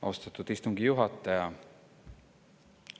Austatud istungi juhataja!